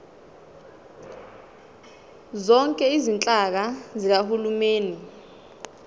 zonke izinhlaka zikahulumeni